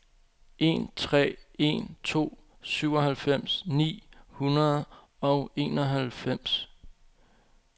en tre en to syvoghalvfems ni hundrede og enoghalvfems